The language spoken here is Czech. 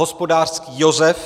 Hospodářský Josef